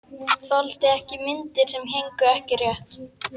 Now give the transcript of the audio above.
Þoldi ekki myndir sem héngu ekki rétt.